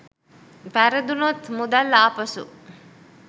වැරදුනොත් මුදල් ආපසු